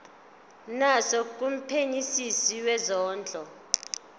naso kumphenyisisi wezondlo